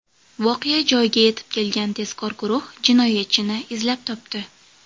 Voqea joyiga yetib kelgan tezkor guruh jinoyatchini izlab topdi.